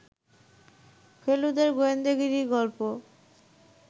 ফেলুদার গোয়েন্দাগিরি গল্প